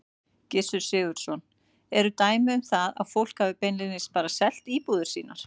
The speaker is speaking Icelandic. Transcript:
Gissur Sigurðsson: Eru dæmi um það að fólk hafi beinlínis bara selt íbúðir sínar?